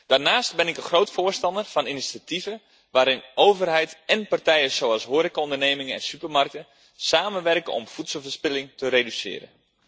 Daarnaast ben ik een groot voorstander van initiatieven waarbij overheid en partijen zoals horecaondernemingen en supermarkten samenwerken om voedselverspilling te reduceren.